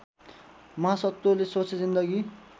महासत्वले सोचे जिन्दगी